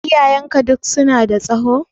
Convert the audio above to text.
Iyayenka duk su na da tsaho?